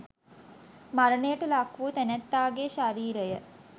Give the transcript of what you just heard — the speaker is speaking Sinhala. මරණයට ලක් වූ තැනැත්තාගේ ශරීරය